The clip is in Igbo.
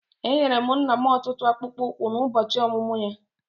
Enyere m nna m otu akpụkpọ ụkwụ n'ụbọchị ọmụmụ ya.